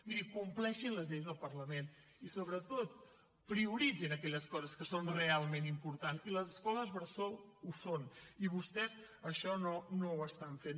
miri compleixin les lleis del parlament i sobretot prioritzin aquelles coses que són realment importants i les escoles bressol ho són i vostès això no ho estan fent